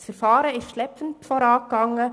Das Verfahren ging schleppend voran.